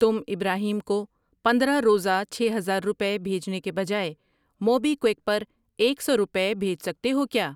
تم ابراہیم کو پندرہ روزہ چھ ہزار روپے بھیجنے کے بجائے موبی کیوِک پرایک سو روپے بھیج سکتے ہو کیا؟